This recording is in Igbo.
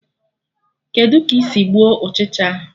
Kedụ ka ị sị gbuo Ụchịcha ahụ?